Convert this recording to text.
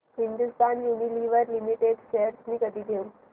Hindustan Unilever Limited shares मी कधी घेऊ